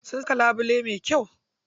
Sun saka labule mai kyau.